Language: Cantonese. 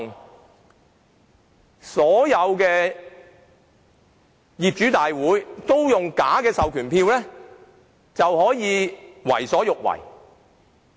當所有業主大會均出現假的授權書時，不法團體便可為所欲為。